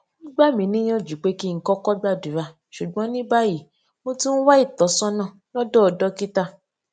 wón gbà mí níyànjú pé kí n kókó gbàdúrà ṣùgbón ní báyìí mo tún ń wá ìtósónà lódò dókítà